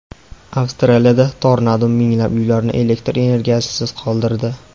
Avstraliyada tornado minglab uylarni elektr energiyasisiz qoldirdi.